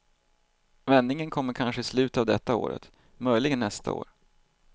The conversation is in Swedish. Vändningen kommer kanske i slutet av detta året, möjligen nästa år.